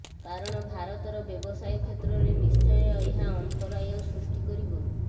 କାରଣ ଭାରତର ବ୍ୟବସାୟ କ୍ଷେତ୍ରରେ ନିଶ୍ଚୟ ଏହା ଅନ୍ତରାୟ ସୃଷ୍ଟି କରିବ